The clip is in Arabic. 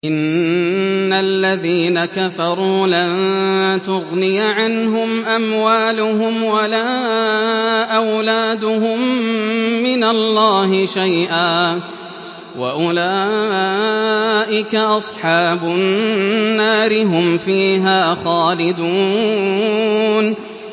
إِنَّ الَّذِينَ كَفَرُوا لَن تُغْنِيَ عَنْهُمْ أَمْوَالُهُمْ وَلَا أَوْلَادُهُم مِّنَ اللَّهِ شَيْئًا ۖ وَأُولَٰئِكَ أَصْحَابُ النَّارِ ۚ هُمْ فِيهَا خَالِدُونَ